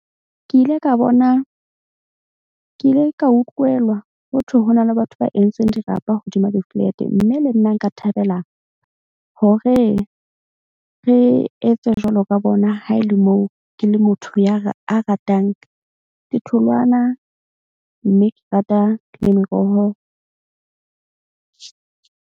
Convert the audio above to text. Ke ile ka bona ke ile ka utlwela hothwe ho na le batho ba entseng dirapa hodima di-flat-e. Mme le nna nka thabela hore re etse jwalo ka bona. Ha e le moo ke le motho ya a ratang ditholwana mme ke rata le meroho.